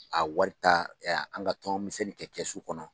A wari ta an ka tɔn misɛnni kɛ kɛsu kɔnɔ.